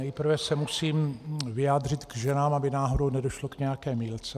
Nejprve se musím vyjádřit k ženám, aby náhodou nedošlo k nějaké mýlce.